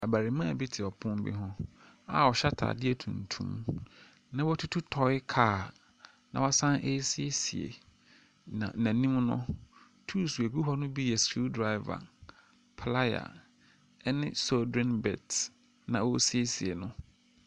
Abarimaa bi te ɛpono bi ho a ɔhyɛ ataadeɛ tuntum, na watutu tɔe kaa na wasan eesiesie, na n'anim no, tuuls a egu hɔ no bi yɛ skriw draeva, playa, ɛne solderen bɛlt na ɔɔsiesie no.